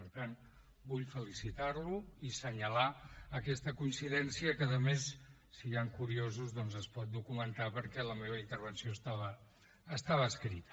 per tant vull felicitar lo i assenyalar aquesta coincidència que a més si hi han curiosos doncs es pot documentar perquè la meva intervenció estava escrita